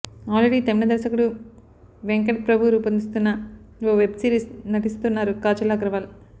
already Tamil దర్శకుడు వెంకట్ ప్రభు రుపొందిస్తున్న ఓ వెబ్ సిరీస్ నటిస్తున్నారు కాజల్ అగర్వాల్